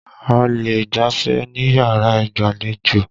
A lè gbafẹ̀ níyàrá ìgbàlejò.